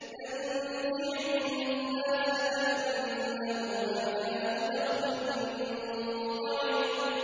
تَنزِعُ النَّاسَ كَأَنَّهُمْ أَعْجَازُ نَخْلٍ مُّنقَعِرٍ